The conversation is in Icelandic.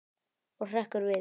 Og hrekkur við.